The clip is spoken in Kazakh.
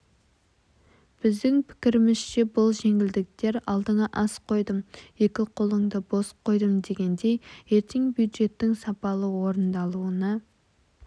біздің пікірімізше бұл жеңілдіктер алдыңа ас қойдым екі қолыңды бос қойдым дегендей ертең бюджеттің сапалы орындалуына